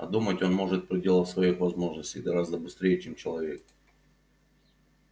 а думать он может в пределах своих возможностей гораздо быстрее чем человек